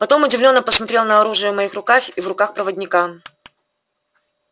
потом удивлённо посмотрел на оружие в моих руках и в руках проводника